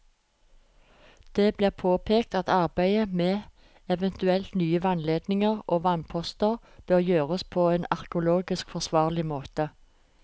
Det blir påpekt at arbeidet med eventuelt nye vannledninger og vannposter bør gjøres på en arkeologisk forsvarlig måte.